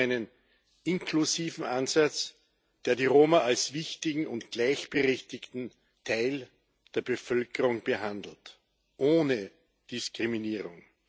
Es geht um einen inklusiven Ansatz, der die Roma als wichtigen und gleichberechtigten Teil der Bevölkerung behandelt ohne Diskriminierung.